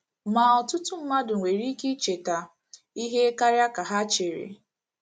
Ma, ọtụtụ mmadụ nwere ike icheta ihe karịa ka ha chere.